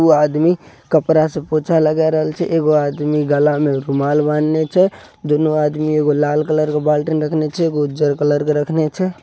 यह आदमी कपड़ा से पोछा लगा रहे को आदमी गाल में रुमाल बांध ले छे दोनों आदमी एगो लाल कलर के बंद रख ले छे. दूनु आदमी एगो लाल कलर के बाल्टिन रखले छै एगो उज्जर कलर के रखले छै।